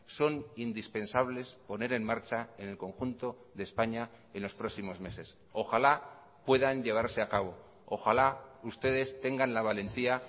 son indispensables poner en marcha en el conjunto de españa en los próximos meses ojalá puedan llevarse a cabo ojalá ustedes tengan la valentía